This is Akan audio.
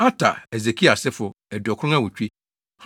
Ater (Hesekia) asefo 2 98 1